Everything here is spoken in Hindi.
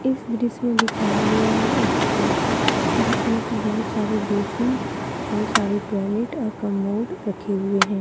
इस दृश्य में दिखाया गया यह एक शॉप है जिसमें कि बहुत सारे बेसिन और सारे टॉयलेट और कमोड रखे हुए हैं।